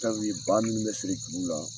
ba minnu bɛ siri juru la